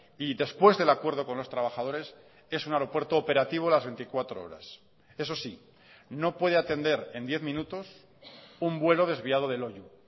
y después del acuerdo con los trabajadores es un aeropuerto operativo las veinticuatro horas eso sí no puede atender en diez minutos un vuelo desviado de loiu